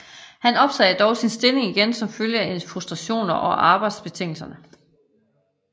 Han opsagde dog sin stilling igen som følge af frustrationer over arbejdsbetingelserne